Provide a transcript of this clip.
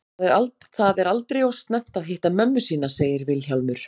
Það er aldrei of snemmt að hitta mömmu sína, segir Vilhjálmur.